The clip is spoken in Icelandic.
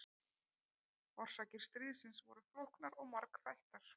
Orsakir stríðsins voru flóknar og margþættar.